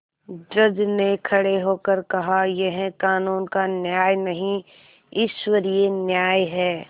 जज ने खड़े होकर कहायह कानून का न्याय नहीं ईश्वरीय न्याय है